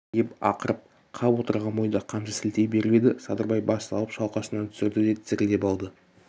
деп ақырып қап отырған бойда қамшы сілтей беріп еді садырбай бас салып шалқасынан түсірді де тізерлеп алды